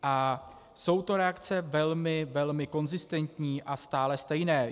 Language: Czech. A jsou to reakce velmi, velmi konzistentní a stále stejné.